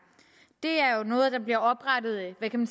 det er jo noget der er blevet oprettet af nød kan